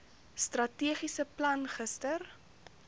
strategiese plan gister